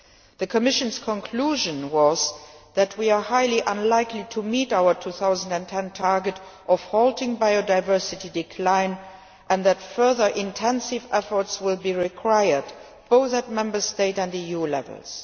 The Commission's conclusion was that we are highly unlikely to meet our 2010 target of halting biodiversity decline and that further intensive efforts will be required, both at Member State and EU levels.